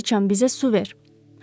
Göy siçan bizə su ver.